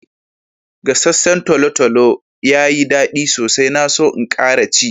Gassacen tolotolo yayi da daddi sosai. Na so n'kara ci.